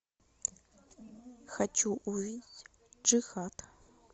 хочу увидеть джихад